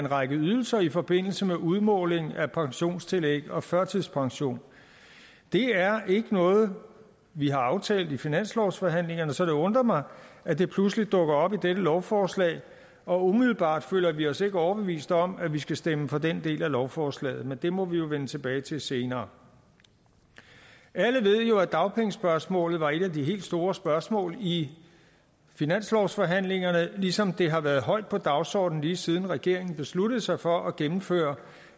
en række ydelser i forbindelse med udmåling af pensionstillæg og førtidspension det er ikke noget vi har aftalt i finanslovsforhandlingerne så det undrer mig at det pludselig dukker op i dette lovforslag og umiddelbart føler vi os ikke overbevist om at vi skal stemme for den del af lovforslaget men det må vi jo vende tilbage til senere alle ved jo at dagpengespørgsmålet var et af de helt store spørgsmål i finanslovsforhandlingerne ligesom det har været højt på dagsordenen lige siden regeringen besluttede sig for at gennemføre